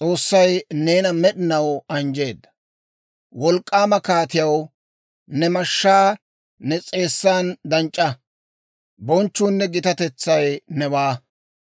Wolk'k'aama kaatiyaw, ne mashshaa ne s'eessan danc'c'a; bonchchuunne gitatetsay newaa.